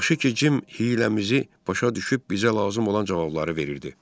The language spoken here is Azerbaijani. Yaxşı ki, Cim hiyləmizi başa düşüb bizə lazım olan cavabları verirdi.